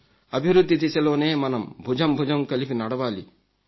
అభివృద్ధి దిశలోనే మనం భుజం భుజం కలిపి నడవాలి